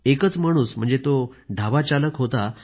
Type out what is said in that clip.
एकच माणूस म्हणजे तो ढाबाचालक होता